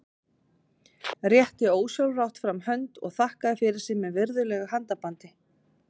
Rétti ósjálfrátt fram hönd og þakkaði fyrir sig með virðulegu handabandi.